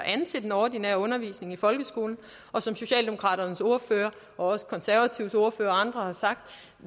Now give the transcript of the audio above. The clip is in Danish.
til den ordinære undervisning i folkeskolen og som socialdemokraternes ordfører og også konservatives ordfører og andre har sagt